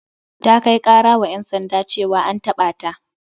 Ta kai kara wa ƴan sanda ceawa an taɓa ta.